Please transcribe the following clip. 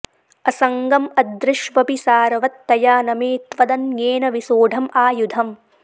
असङ्गं अद्रिष्वपि सारवत्तया न मे त्वदन्येन विसोढं आयुधं